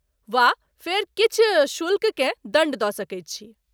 वा फेर किछु शुल्ककेँ दण्ड दऽ सकैत छी।